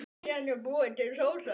Síðan er búin til sósa.